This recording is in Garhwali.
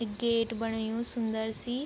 एक गेट बणायुं सुन्दर सी।